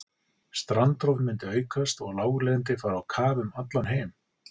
Strandrof myndi aukast og láglendi fara á kaf um allan heim.